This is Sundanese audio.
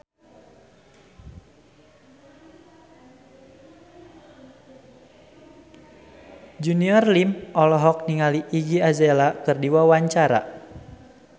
Junior Liem olohok ningali Iggy Azalea keur diwawancara